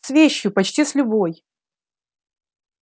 с вещью почти с любой